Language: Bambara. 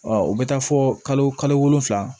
Ɔ u bɛ taa fɔ kalo wolonwula